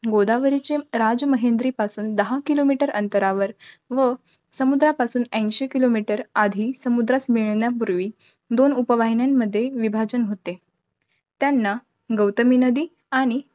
गोदावरीचे राजमहेंद्री पासून दहा kilometer अंतरावर, व समुद्रापासून ऐंशी kilometer आधी, समुद्रास मिळण्यापूर्वी दोन उपवाहिन्यांमध्ये विभाजन होते. त्यांना गौतमी नदी आणि